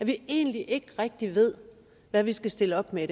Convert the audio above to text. vi egentlig ikke rigtig ved hvad vi skal stille op med